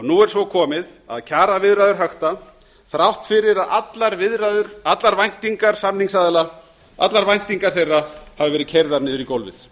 nú er svo komið að kjaraviðræður xxxx þrátt fyrir að allar viðræður allar væntingar samningsaðila allar væntingar þeirra hafi verið keyrðar niður í gólfið